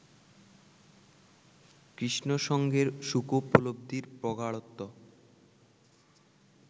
কৃষ্ণসঙ্গের সুখোপলব্ধির প্রগাঢ়ত্ব